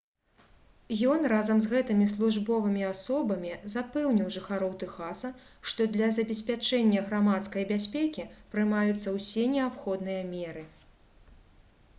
ён разам з гэтымі службовымі асобамі запэўніў жыхароў тэхаса што для забеспячэння грамадскай бяспекі прымаюцца ўсе неабходныя меры